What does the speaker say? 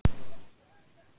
Hvað er handan spegilsins